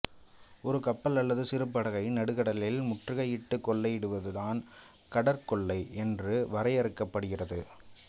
ஒரு கப்பல் அல்லது சிறு படகை நடுக்கடலில் முற்றுகையிட்டு கொள்ளையிடுவது தான் கடற்கொள்ளை என்று வரையறுக்கப்படுகிறது